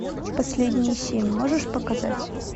последние семь можешь показать